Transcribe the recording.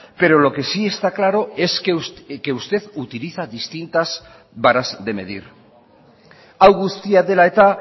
pero lo que sí está claro es que usted utiliza distintas varas de medir hau guztia dela eta